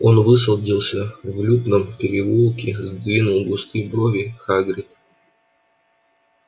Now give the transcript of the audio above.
он высадился в лютном переулке сдвинул густые брови хагрид